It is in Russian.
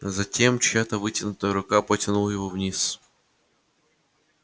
затем чья-то вытянутая рука потянула его вниз